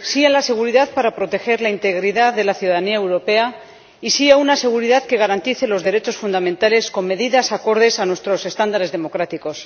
sí a la seguridad para proteger la integridad de la ciudadanía europea y sí a una seguridad que garantice los derechos fundamentales, con medidas acordes a nuestros estándares democráticos.